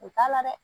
U t'a la dɛ